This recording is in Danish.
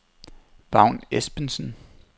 Vagn Espensen